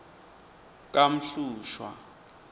kamhlushwa